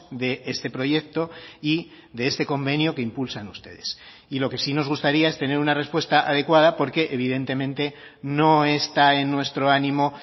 de este proyecto y de este convenio que impulsan ustedes y lo que sí nos gustaría es tener una respuesta adecuada porque evidentemente no está en nuestro ánimo